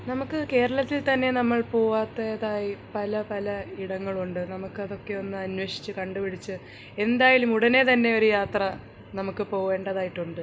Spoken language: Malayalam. നമുക്ക് കേരളത്തിൽ തന്നെ നമ്മൾ പോവാത്തതായി പല പല ഇടങ്ങൾ ഉണ്ട് നമുക്ക് അതൊക്കെ ഒന്ന് അന്വേഷിച്ച് കണ്ടു പിടിച്ച് എന്തായാലും ഉടനെ തന്നെ ഒരു യാത്ര നമുക്ക് പോവേണ്ടതായിട്ടുണ്ട്‌